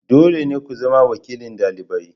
Dole ne ku zama wakilin dalibai.